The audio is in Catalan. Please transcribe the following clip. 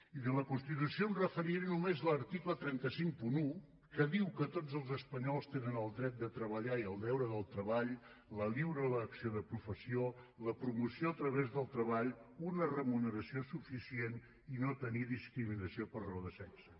i de la constitució em referiré només a l’article tres cents i cinquanta un que diu que tots els espanyols tenen el dret de treballar i el deure del treball la lliure elecció de professió la promoció a través del treball una remuneració suficient i no tenir discriminació per raó de sexe